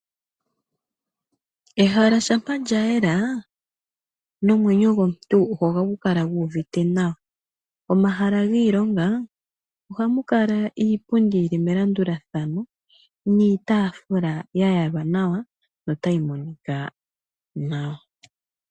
Ehala shampa lyayela nomwenyo gomuntu ohagu kala gu uvite nawa. Momahala giilonga ohamu kala iipundi yili melandulathano niitaafula yayalwa nawa no tayi monika nawa.